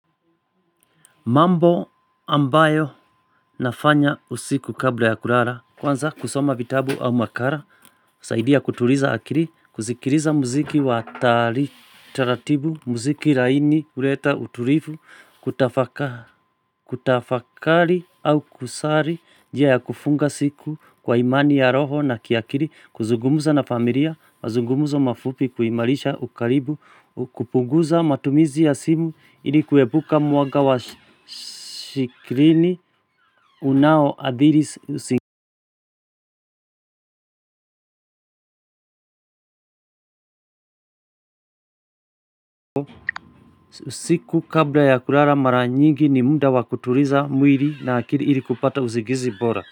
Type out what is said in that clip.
Mambo ambayo nafanya usiku kabla ya kulala, kwanza kusoma vitabu au makala, husaidia kutuliza akili, kusikiliza muziki wa taratibu, muziki laini, huleta utulivu, kutafaka kutafakari au kusali, njia ya kufunga siku kwa imani ya roho na kiakili, kuzugumuza na familia, mazungumzo mafupi, kuimarisha, ukaribu, kupunguza matumizi ya simu, ili kuepuka mwanga wa shikrini unaoadhiri. Siku kabla ya kulala mara nyingi ni muda wa kutuliza mwili na akiri ili kupata usingizi bora.